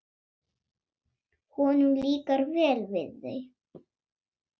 Honum líkar vel við þau.